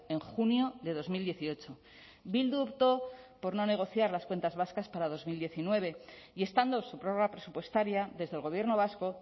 en junio de dos mil dieciocho bildu optó por no negociar las cuentas vascas para dos mil diecinueve y estando su prórroga presupuestaria desde el gobierno vasco